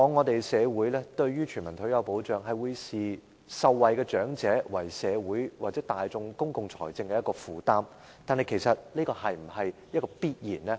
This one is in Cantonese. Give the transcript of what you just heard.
就全民退休保障來說，社會往往會視受惠的長者為社會或大眾公共財政的負擔，但其實這是否必然呢？